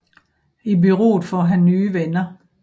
I bureauet får han nye venner